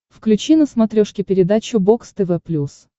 включи на смотрешке передачу бокс тв плюс